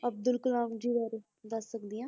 ਅਬਦੁਲ ਕਲਾਮ ਜੀ ਬਾਰੇ ਦੱਸ ਸਕਦੀ ਹਾਂ।